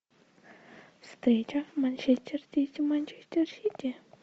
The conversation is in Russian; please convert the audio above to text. встреча манчестер сити манчестер сити